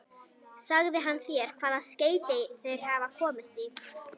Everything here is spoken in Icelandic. Sagði hann þér, hvaða skeyti þeir hafa komist í?